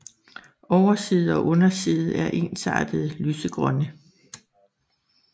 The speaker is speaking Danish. Overside og underside er ensartet lysegrønne